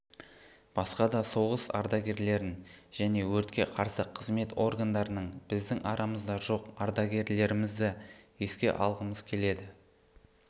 басқа да соғыс ардагерлерін және өртке қарсы қызмет органдарының біздің арамызда жоқ ардагерлерімізді еске алғымыз келеді